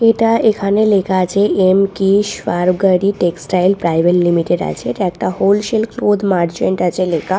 এটা এখানে লেখা আছে এম কিস ফারগারি টেক্সটাইল প্রাইভেট লিমিটেড আছে এটা একটা হোলসেল ক্লোথ মার্চেন্ট আছে লেখা।